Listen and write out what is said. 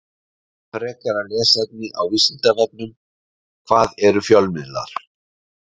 Frekara lesefni á Vísindavefnum: Hvað eru fjölmiðlar?